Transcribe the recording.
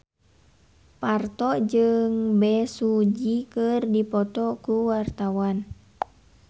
Parto jeung Bae Su Ji keur dipoto ku wartawan